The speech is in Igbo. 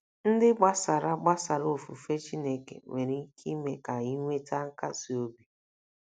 ndị gbasara gbasara ofufe Chineke nwere ike ime ka inweta nkasi obi